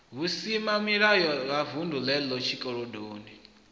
vhusimamilayo ha vunḓu lenelo tshikolodo